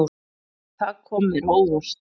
Það kom mér á óvart.